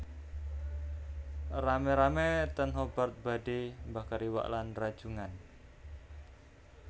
Rame rame ten Hobart badhe mbakar iwak lan rajungan